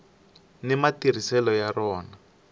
ni matirhiselo ya rona